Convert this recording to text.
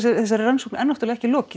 þessari rannsókn er náttúrulega ekki lokið